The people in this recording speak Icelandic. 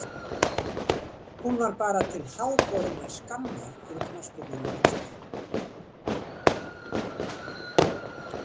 Hún var bara til háborinnar skammar fyrir knattspyrnuna fannst mér.